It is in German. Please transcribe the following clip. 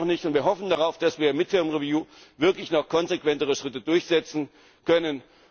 Es reicht noch nicht und wir hoffen darauf, dass wir mit dem Review wirklich noch konsequentere Schritte durchsetzen können.